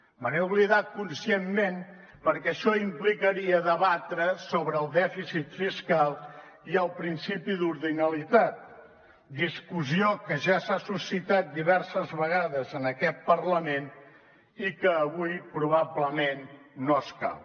me n’he oblidat conscientment perquè això implicaria debatre sobre el dèficit fiscal i el principi d’ordinalitat discussió que ja s’ha suscitat diverses vegades en aquest parlament i que avui probablement no escau